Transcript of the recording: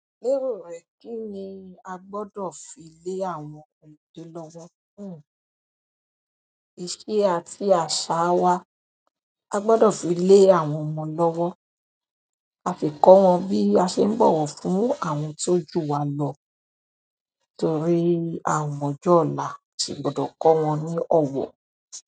Lero e, kini a gbodo fi le àwọn ọmọdé lowo? Iṣẹ́ àti asaa wa. A gbọ́dọ̀ fi lé àwọn ọmọ lọ́wọ́, a fi kọ́ wọn bí a ṣe ń bọ̀wọ̀ fún àwọn tó jù wa lọ, torí àa o mo ọjọ́ ọ̀la, a sì gbọ́dọ̀ kọ́ wọn ní ọ̀wọ̀.